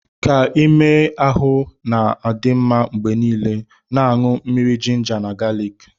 Ka ime ahụ na-adị mma mgbe niile, na-aṅụ mmiri jinja na galiki.